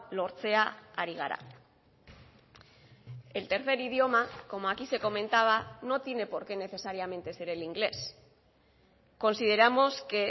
lortzea ari gara el tercer idioma como aquí se comentaba no tiene porque necesariamente ser el inglés consideramos que